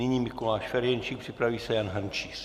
Nyní Mikuláš Ferjenčík, připraví se Jan Hrnčíř.